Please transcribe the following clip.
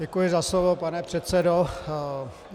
Děkuji za slovo, pane předsedo.